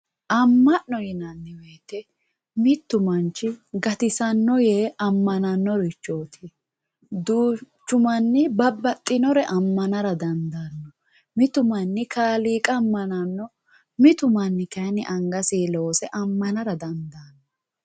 Ama'no yinanni woyte mitu manchi gatisanoe yee ammananorichoti duuchu manni babbaxxinore amanara dandaano mitu manni kaaliiqa ammanano mitu manni kayinni angasinni loose ammanara dandaano.